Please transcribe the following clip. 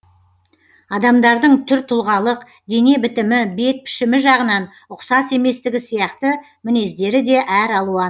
адамдардың түр тұлғалық дене бітімі бет пішімі жағынан ұқсас еместігі сияқты мінездері де әр алуан